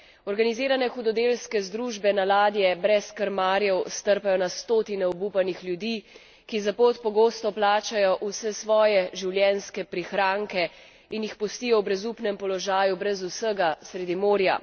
Organizirane hudodelske združbe na ladje brez krmarjev strpajo na stotine obupanih ljudi, ki za pot pogosto plačajo vse svoje življenjske prihranke, in jih pustijo v brezupnem položaju brez vsega sredi morja.